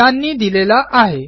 यांनी दिलेला आहे